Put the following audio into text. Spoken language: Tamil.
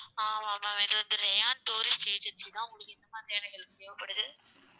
ஆமாம் ma'am இது வந்து rayon tourist agency தான். உங்களுக்கு எந்த மாதிரியான help தேவ படுது?